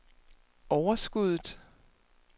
overskuddet